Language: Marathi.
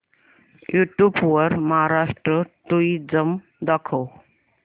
यूट्यूब वर महाराष्ट्र टुरिझम दाखव